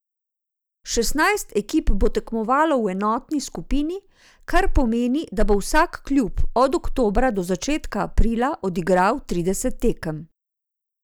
Šestnajst ekip bo tekmovalo v enotni skupini, kar pomeni, da bo vsak klub od oktobra do začetka aprila odigral trideset tekem.